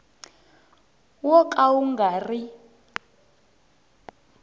wo ka wu nga ri